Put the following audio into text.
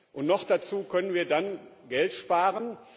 Und noch dazu können wir dann Geld sparen.